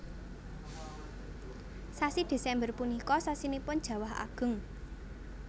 Sasi Desember punika sasinipun jawah ageng